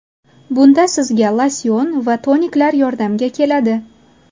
Bunda sizga losyon va toniklar yordamga keladi.